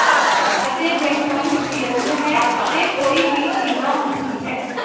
ਅਤੇ ਬ੍ਰਹਿਮੰਡ ਬੇਅੰਤ ਹੈ ਅਤੇ ਕੋਈ ਵੀ ਸੀਮਾ ਹੁੰਦੀ ਹੈ